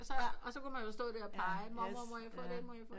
Og så kunne man jo stå der og pege mormor må jeg få den må jeg få den